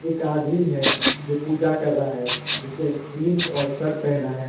एक आदमी है जो पूजा कर रहा है जिसने जींस और शर्ट पहना है।